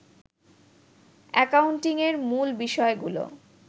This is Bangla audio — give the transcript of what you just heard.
অ্যাকাউন্টিংয়ের মূল বিষয়গুলো